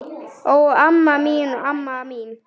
Ó, amma mín, amma mín!